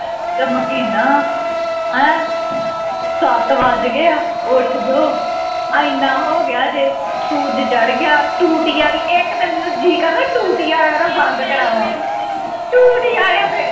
ਚਮਕੀਨਾ ਹੈ ਸੱਤ ਵੱਜ ਗਏ ਉਠ ਜਾਉ ਅੰਨਾ ਹੋ ਗਿਆ ਜੇ ਸੂਰਜ ਚੜ੍ਹ ਗਿਆ ਜੇ ਟੂਟੀ